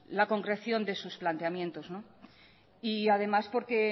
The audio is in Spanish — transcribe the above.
la concreción de sus planteamientos y además porque